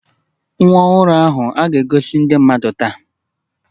Nwa ọhụrụ a ga-egosi ndị mmadụ taa